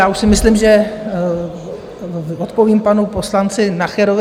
Já už si myslím, že odpoví panu poslanci Nacherovi.